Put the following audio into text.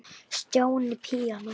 Stjáni píanó